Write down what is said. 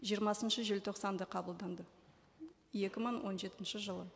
жиырмасыншы желтоқсанда қабылданды екі мың он жетінші жылы